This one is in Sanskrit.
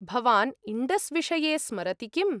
भवान् इण्डस् विषये स्मरति किम्?